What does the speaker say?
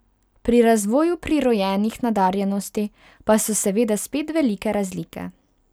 Pri razvoju prirojenih nadarjenosti pa so seveda spet velike razlike.